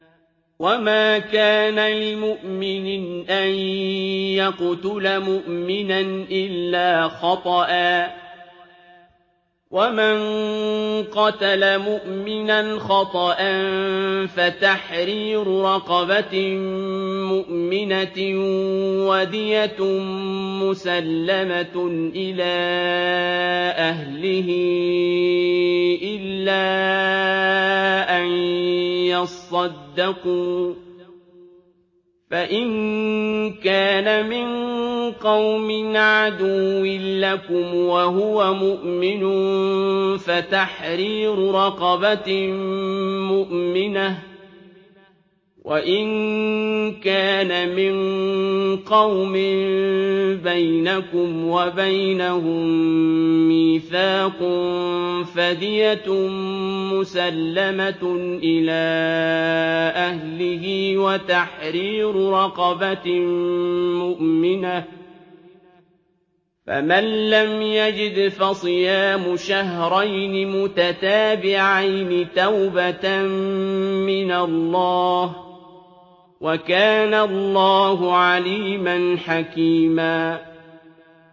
وَمَا كَانَ لِمُؤْمِنٍ أَن يَقْتُلَ مُؤْمِنًا إِلَّا خَطَأً ۚ وَمَن قَتَلَ مُؤْمِنًا خَطَأً فَتَحْرِيرُ رَقَبَةٍ مُّؤْمِنَةٍ وَدِيَةٌ مُّسَلَّمَةٌ إِلَىٰ أَهْلِهِ إِلَّا أَن يَصَّدَّقُوا ۚ فَإِن كَانَ مِن قَوْمٍ عَدُوٍّ لَّكُمْ وَهُوَ مُؤْمِنٌ فَتَحْرِيرُ رَقَبَةٍ مُّؤْمِنَةٍ ۖ وَإِن كَانَ مِن قَوْمٍ بَيْنَكُمْ وَبَيْنَهُم مِّيثَاقٌ فَدِيَةٌ مُّسَلَّمَةٌ إِلَىٰ أَهْلِهِ وَتَحْرِيرُ رَقَبَةٍ مُّؤْمِنَةٍ ۖ فَمَن لَّمْ يَجِدْ فَصِيَامُ شَهْرَيْنِ مُتَتَابِعَيْنِ تَوْبَةً مِّنَ اللَّهِ ۗ وَكَانَ اللَّهُ عَلِيمًا حَكِيمًا